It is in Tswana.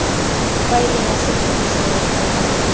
faeleng ya setlhogo seo mo